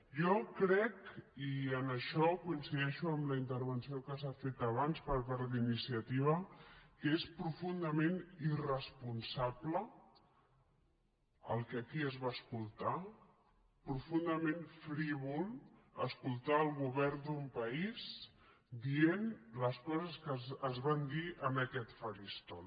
jo crec i en això coincideixo amb la intervenció que s’ha fet abans per part d’iniciativa que és profundament irresponsable el que aquí es va escoltar profundament frívol escoltar el govern d’un país dient les coses que es van dir en aquest faristol